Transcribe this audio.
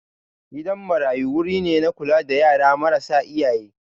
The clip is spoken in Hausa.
Gidan marayu wuri ne na kula da yara marasa iyaye